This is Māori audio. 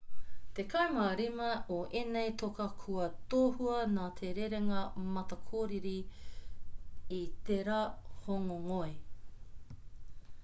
tekau mā rima o ēnei toka kua tohua nā te rerenga matakōkiri i tērā hōngongoi